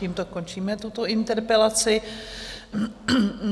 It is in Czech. Tímto končíme tuto interpelaci.